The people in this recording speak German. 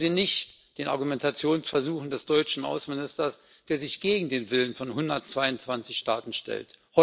Folgen Sie nicht den Argumentationsversuchen des deutschen Außenministers, der sich gegen den Willen von 122 Staaten stellt.